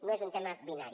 no és un tema binari